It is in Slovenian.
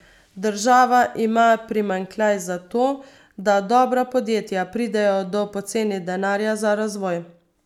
Država ima primanjkljaj zato, da dobra podjetja pridejo do poceni denarja za razvoj.